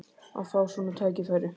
Að fá svona tækifæri!